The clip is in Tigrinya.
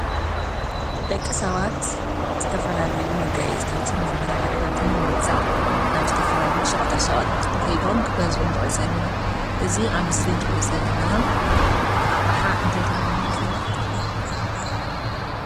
ደቂ ሰባት ዝተፈላለዩ መጋየፅታትን መመላኪዒታትን ምግዛእ ናብ ዝተፈላለዩ ሸቀጣ ሸቀጥ ከይዶም ክገዝኡ ንዕዘብ ኢና፡፡ እዚ ኣብ ምስሊ እንሪኦ ዘለና ኣቅሓ እንታይ ተባሂሉ ይፍለጥ?